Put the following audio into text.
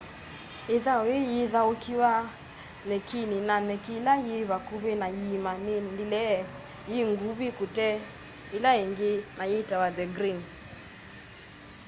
ithau yii yithaukiwa nyekini na nyeki ila yi vakũvi na yiima ni ndile yi ngũvi kute ila ingi na yitawa the green